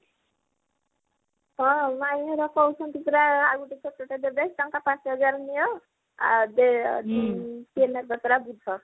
ହଁ ମାଇଁ ଘର କହୁଛନ୍ତି ପରା ଆଉ ଗୋଟେ ଛୋଟଟେ ଦେବେ ଟଙ୍କା ପାଞ୍ଚ ହଜାର ନିଅ ଆଉ ଏବେ କିଏ ନେବେ ପରା ବୁଝ